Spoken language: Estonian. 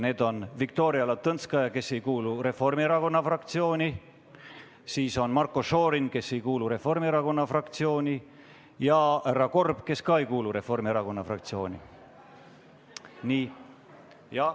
Need on Viktoria Ladõnskaja-Kubits, kes ei kuulu Reformierakonna fraktsiooni, Marko Šorin, kes ei kuulu Reformierakonna fraktsiooni, ja härra Korb, kes ka ei kuulu Reformierakonna fraktsiooni.